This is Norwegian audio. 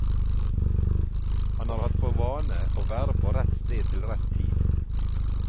Han har hatt for vane å være på rett sted til rett tid.